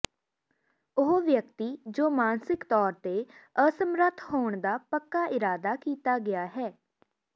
ਉਹ ਵਿਅਕਤੀ ਜੋ ਮਾਨਸਿਕ ਤੌਰ ਤੇ ਅਸਮਰੱਥ ਹੋਣ ਦਾ ਪੱਕਾ ਇਰਾਦਾ ਕੀਤਾ ਗਿਆ ਹੈ